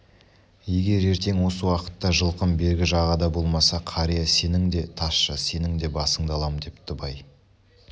егер ертең осы уақытта жылқым бергі жағада болмаса қария сенің де тазша сенің де басыңды алам депті бай